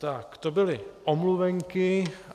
Tak, to byly omluvenky.